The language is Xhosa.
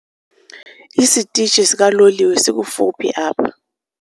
Isitishi sikaloliwe sikufuphi apha.